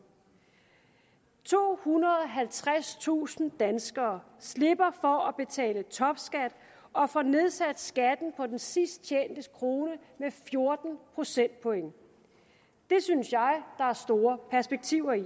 tohundrede og halvtredstusind danskere slipper for at betale topskat og får nedsat skatten på den sidst tjente krone med fjorten procentpoint det synes jeg der er store perspektiver i